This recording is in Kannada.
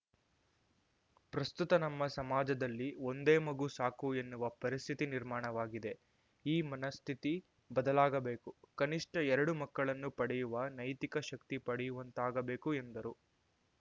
ಪ್ರಸ್ತುತ ನಮ್ಮ ಸಮಾಜದಲ್ಲಿ ಒಂದೇ ಮಗು ಸಾಕು ಎನ್ನುವ ಪರಿಸ್ಥಿತಿ ನಿರ್ಮಾಣವಾಗಿದೆ ಈ ಮನಃಸ್ಥಿತಿ ಬದಲಾಗಬೇಕು ಕನಿಷ್ಠ ಎರಡು ಮಕ್ಕಳನ್ನು ಪಡೆಯುವ ನೈತಿಕ ಶಕ್ತಿ ಪಡೆಯುವಂತಾಗಬೇಕು ಎಂದರು